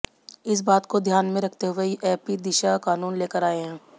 इस बात को ध्यान में रखते हुए एपी दिशा कानून लेकर आये हैं